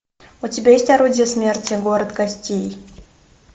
у тебя есть орудие смерти город костей